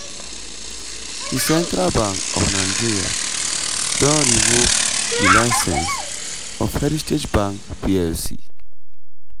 di central bank of nigeria don revoke di licence of heritage bank plc.